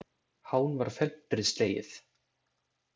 Hán var felmtri slegið.